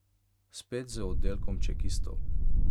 Spet z oddelkom čekistov.